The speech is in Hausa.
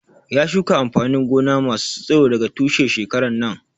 Ya shuka amfanin gona masu tsiro daga tushe shekaran nan